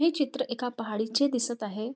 हे चित्र एका पहाडी चे दिसत आहे.